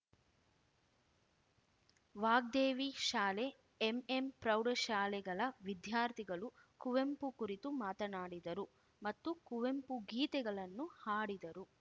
ವಾಗ್ದೇವಿ ಶಾಲೆ ಎಂಎಂಪ್ರೌಢಶಾಲೆಗಳ ವಿದ್ಯಾರ್ಥಿಗಳು ಕುವೆಂಪು ಕುರಿತು ಮಾತನಾಡಿದರು ಮತ್ತು ಕುವೆಂಪು ಗೀತೆಗಳನ್ನು ಹಾಡಿದರು